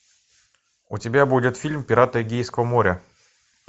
у тебя будет фильм пираты эгейского моря